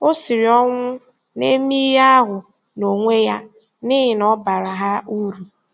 Ọ siri ọnwụ na-eme ihe ahụ n'onwe ya n'ihi na ọ baara ha uru.